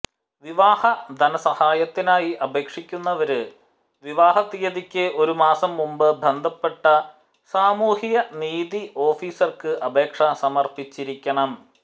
വിവാഹ ധനസഹായത്തിനായി അപേക്ഷിക്കുന്നവര് വിവാഹ തിയതിക്ക് ഒരു മാസം മുന്പ് ബന്ധപ്പെട്ട സാമൂഹ്യനീതി ഓഫീസര്ക്ക് അപേക്ഷ സമര്പ്പിച്ചിരിക്കണം